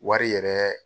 Wari yɛrɛ